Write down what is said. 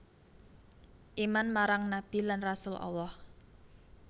Iman marang nabi lan rasul Allah